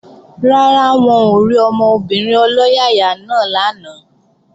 Rárá, wọn ò rí ọmọbìnrin ọlọ́yàyà náà lánàá